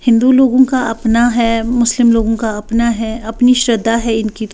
हिंदू लोगों का अपना है मुस्लिम लोगों का अपना है अपनी श्रद्धा है इनकी--